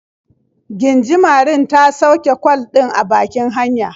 Gingimarin ta sauke kwal ɗin a bakin hanya.